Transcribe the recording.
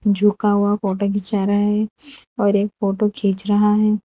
झुका हुआ फोटो खींचा रहा है और एक फोटो खींच रहा है।